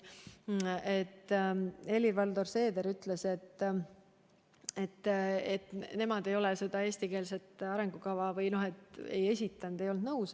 Helir-Valdor Seeder ütles, et nemad ei olnud selle eesti keele arengukavaga nõus.